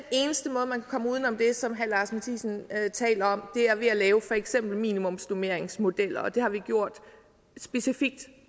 eneste måde man kan komme uden om det som herre lars boje mathiesen taler om er ved at lave for eksempel minimumsnormeringsmodeller og det har vi gjort specifikt